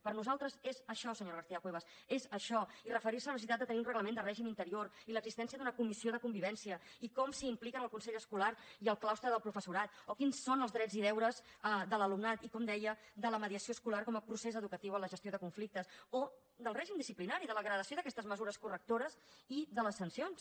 per nosaltres és això senyora garcía cuevas és això i referir se a la necessitat de tenir un reglament de règim interior i l’existència d’una comissió de convivència i com s’hi impliquen el consell escolar i el claustre del professorat o quins són els drets i deures de l’alumnat i com deia de la mediació escolar com a procés educatiu en la gestió de conflictes o del règim disciplinari de la gradació d’aquestes mesures correctores i de les sancions